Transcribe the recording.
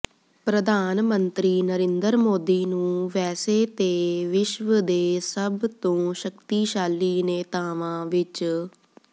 ਪ੍ਰਧਾਨ ਮੰਤਰੀ ਨਰਿੰਦਰ ਮੋਦੀ ਨੂੰ ਵੈਸੇ ਤੇ ਵਿਸ਼ਵ ਦੇ ਸਭ ਤੋਂ ਸ਼ਕਤੀਸ਼ਾਲੀ ਨੇਤਾਵਾਂ ਵਿੱਚ